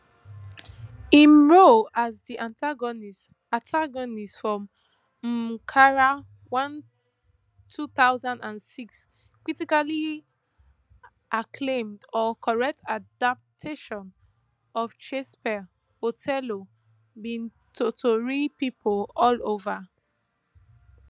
im role as di antagonist antagonist for omkara one two thousand and six critically acclaimed or correct adaptation of shakespeare othello bin totori pipo all over